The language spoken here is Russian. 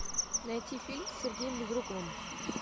найти фильм с сергеем безруковым